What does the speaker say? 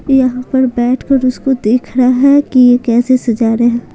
यहाँ पर बैठकर उसको देख रहा है कि यह कैसे सजा रहे हैं।